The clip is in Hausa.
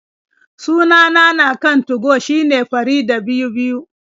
Sunana na kan 2go shine Faridah22.